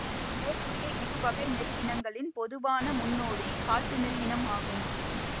மேற்கூறிய இருவகை நெல் இனங்களின் பொதுவான முன்னோடி காட்டு நெல் இனம் ஆகும்